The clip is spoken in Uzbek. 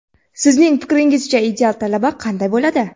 Sizning fikringizcha ideal talaba qanday bo‘ladi?.